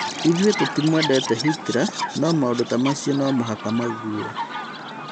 ithuĩ tũtimwendete Hitler nũ maũndũ ta macio nomũhaka mauguo